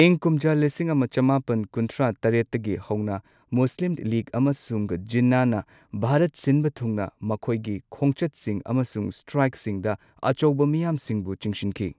ꯏꯪ ꯀꯨꯝꯖꯥ ꯂꯤꯁꯤꯡ ꯑꯃ ꯆꯃꯥꯄꯟ ꯀꯨꯟꯊ꯭ꯔꯥ ꯇꯔꯦꯠꯇꯒꯤ ꯍꯧꯅ ꯃꯨꯁꯂꯤꯝ ꯂꯤꯒ ꯑꯃꯁꯨꯡ ꯖꯤꯟꯅꯥꯅ ꯚꯥꯔꯠ ꯁꯤꯟꯕ ꯊꯨꯡꯅ ꯃꯈꯣꯏꯒꯤ ꯈꯣꯡꯆꯠꯁꯤꯡ ꯑꯃꯁꯨꯡ ꯁ꯭ꯇꯔꯥꯏꯛꯁꯤꯡꯗ ꯑꯆꯧꯕ ꯃꯤꯌꯥꯝꯁꯤꯡꯕꯨ ꯆꯤꯡꯁꯤꯟꯈꯤ꯫